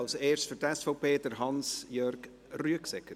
Als erster für die SVP, Hans Jörg Rüegsegger.